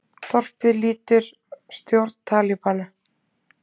Þorpið lýtur stjórn Talíbana